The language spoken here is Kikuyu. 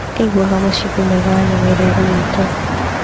Aiguaga mũcingũ mwega wa nyama irĩa irugĩtwo.